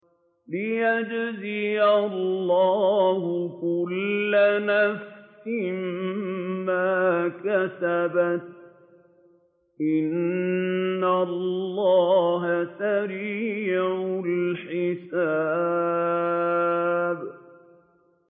لِيَجْزِيَ اللَّهُ كُلَّ نَفْسٍ مَّا كَسَبَتْ ۚ إِنَّ اللَّهَ سَرِيعُ الْحِسَابِ